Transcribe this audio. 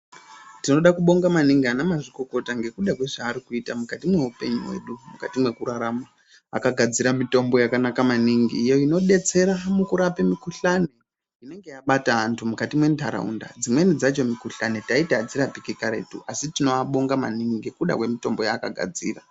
Tinoda kubonga maningi ana mazvikokota ngekuda kwezvaari kuita mukati mweupenyu hwedu mukati mwekurarama. Akagadzira mutombo yakanaka maningi iyo inodetsera mukurape mukhuhlani inenge yabata antu mukati mwentaraunda dzimweni dzacho mikhuhlani taiiti adzirapiki karetu asi tinoabonga maningi ngekuda kwemitombo yaakagadzira.